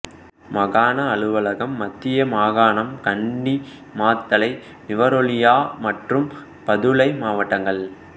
மாகாண அலுவலகம் மத்திய மாகாணம் கண்டி மாத்தளை நுவரெலியா மற்றும் பதுளை மாவட்டங்கள்